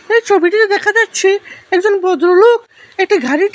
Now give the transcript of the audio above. এই ছবিটিতে দেখা যাচ্ছে একজন ভদ্রলোক একটা গাড়ি ঠিক--